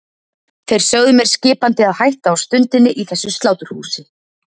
Þeir sögðu mér skipandi að hætta á stundinni í þessu sláturhúsi.